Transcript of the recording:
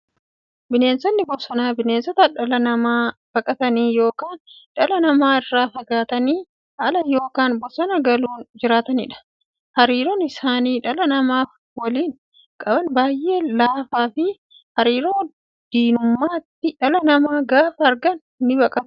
Bineensonni bosonaa bineensota dhala namaa baqatanii yookiin dhala namaa irraa fagaatanii ala yookiin bosona galuun jiraataniidha. Hariiroon isaan dhala namaa waliin qaban baay'ee laafaafi hariiroo diinummaati. Dhala namaa gaafa argan nibaqatu.